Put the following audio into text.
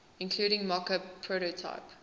including mockup prototype